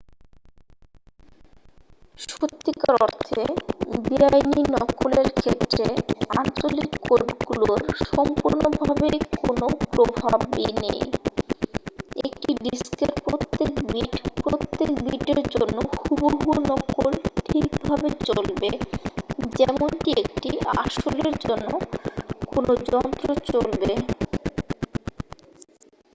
সত্যিকার অর্থে বেআইনী নকলের ক্ষেত্রে আঞ্চলিক কোডগুলোর সম্পূর্ণভাবেই কোন প্রভাবই নেই একটি ডিস্কের প্রত্যেক বিট প্রত্যেক বিটের জন্য হুবহু নকল ঠিকভাবে চলবে যেমনটি একটি আসলের জন্য কোন যন্ত্রে চলবে